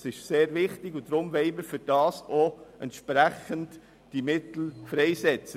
Dies ist sehr wichtig, deshalb wollen wir die entsprechenden Mittel dafür freisetzen.